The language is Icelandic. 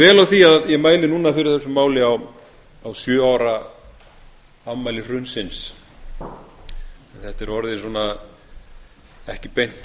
því að ég mæli núna fyrir þessu máli á sjö ára afmæli hrunsins þetta er orðið svona ekki beint